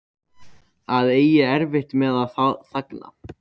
Að eiga erfitt með að þagna